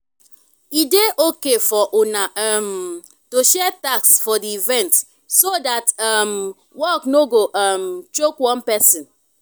e dey okay for una um to share tasks for di event so that um work no go um choke one person